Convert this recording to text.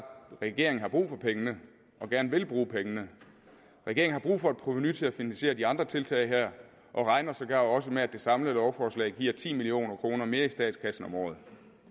at regeringen har brug for pengene og gerne vil bruge pengene regeringen har brug for et provenu til at finansiere de andre tiltag her og regner sågar også med at det samlede lovforslag giver ti million kroner mere i statskassen om året